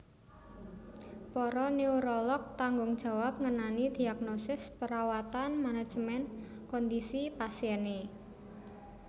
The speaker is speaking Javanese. Para neurolog tanggung jawab ngenani dhiagnosis parawatan manajemen kondhisi pasiené